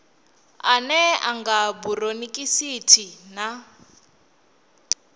ane a nga buronikhitisi na